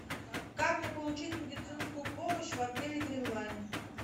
как мне получить медицинскую помощь в отеле гринлайн